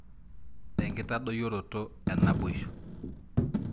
Enkitadoyioroto enaboisho?